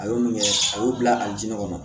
A ye mun kɛ a y'o bila a ju kɔnɔ